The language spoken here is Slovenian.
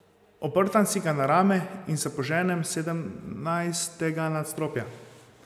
Oprtam si ga na rame in se poženem s sedemnajstega nadstropja.